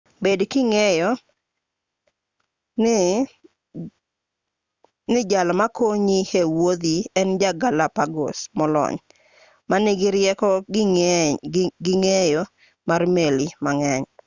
bed king'eyo ni jal makonyi e-wuodhi en ja galapagos molony ma nigi rieko gi ng'eyo mar meli mang'eny